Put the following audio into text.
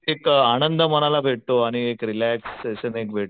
एक आनंद मनाला भेटतो आणि एक रिलॅक्स सेशन